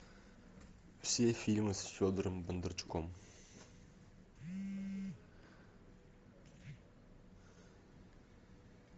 все фильмы с федором бондарчуком